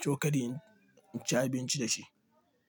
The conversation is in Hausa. cokali in ci abinci da shi.